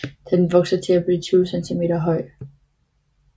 Den vokser til blive 20 cm høj